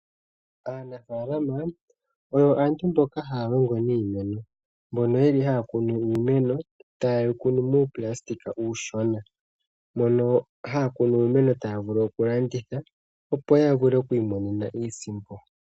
Aanafaalama oyo aantu mboka haya longo niimeno, mboka haya kunu iimeno muupulasitika uushona, moka haya kuna iimeno taya vulu okulanditha, opo ya vule okuimonena iisimpo.